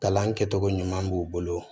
Kalan kɛcogo ɲuman b'u bolo